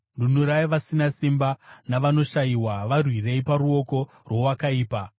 Nunurai vasina simba navanoshayiwa; varwirei paruoko rwowakaipa.